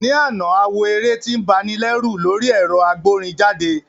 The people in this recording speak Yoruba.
Ní àná, a wo eré tí ń ba ni lẹ́rù lórí ẹ̀rọ agbórinjáde